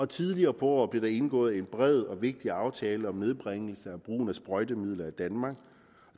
tidligere på året blev der indgået en bred og vigtig aftale om nedbringelse af brugen af sprøjtemidler i danmark